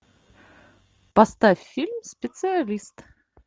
поставь фильм специалист